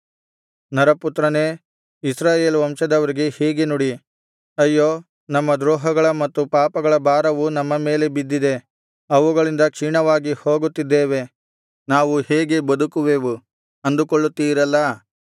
ನರಪುತ್ರನೇ ಇಸ್ರಾಯೇಲ್ ವಂಶದವರಿಗೆ ಹೀಗೆ ನುಡಿ ಅಯ್ಯೋ ನಮ್ಮ ದ್ರೋಹಗಳ ಮತ್ತು ಪಾಪಗಳ ಭಾರವು ನಮ್ಮ ಮೇಲೆ ಬಿದ್ದಿದೆ ಅವುಗಳಿಂದ ಕ್ಷೀಣವಾಗಿ ಹೋಗುತ್ತಿದ್ದೇವೆ ನಾವು ಹೇಗೆ ಬದುಕುವೆವು ಅಂದುಕೊಳ್ಳುತ್ತೀರಲ್ಲಾ